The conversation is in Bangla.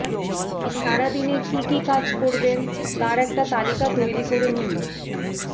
সারাদিনে কী কী কাজ করবেন তার একটা তালিকা তৈরি করে নিন